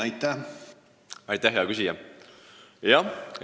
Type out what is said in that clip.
Aitäh, hea küsija!